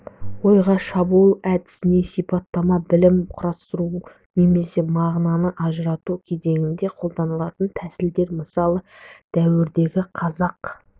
ойға шабуыл әдісіне сипаттама білім құрастыру немесе мағынаны ажырату кезеңінде қолданатын тәсілдер мысалы жаңа дәуірдегі қазақ